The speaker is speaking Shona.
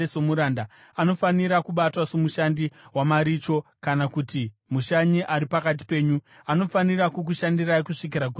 Anofanira kubatwa somushandi wamaricho kana kuti mushanyi ari pakati penyu; anofanira kukushandirai kusvikira Gore reJubhiri.